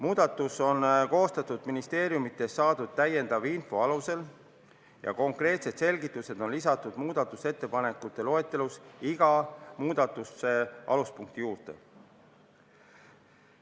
Muudatused on koostatud ministeeriumidest saadud lisainfo alusel ja konkreetsed selgitused on lisatud muudatusettepanekute loetelus iga muudatuse alapunkti juurde.